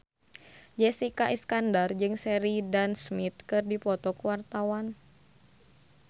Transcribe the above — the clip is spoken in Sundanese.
Jessica Iskandar jeung Sheridan Smith keur dipoto ku wartawan